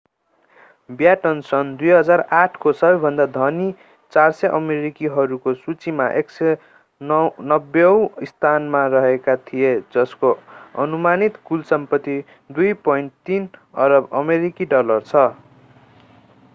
baton सन् 2008 को सबैभन्दा धनी 400 अमेरिकीहरूको सूचीमा 190 औँ स्थानमा रहेका थिए जसको अनुमानित कुल सम्पत्ति 2.3 अरब अमेरिकी डलर छ